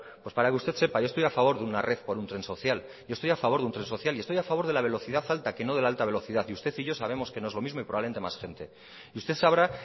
pues para que usted sepa yo estoy a favor de una red por un tren social yo estoy a favor de un tren social y estoy a favor de la velocidad alta que no de la alta velocidad y usted y yo sabemos que no es lo mismo y probablemente más gente y usted sabrá